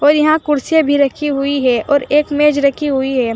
और यहां कुर्सियां भी रखी हुई है और एक मेज रखी हुई है।